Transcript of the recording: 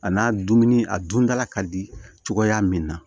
A n'a dumuni a dundala ka di cogoya min na